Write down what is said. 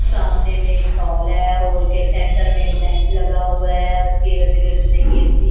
सामने में एक हॉल है हॉल के सेंटर में बेंच लगा हुआ है उसके इर्द गिर्द में एक ए_सी --